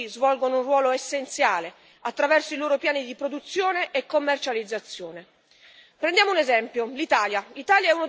In questi continui scambi le organizzazioni di produttori svolgono un ruolo essenziale attraverso i loro piani di produzione e commercializzazione.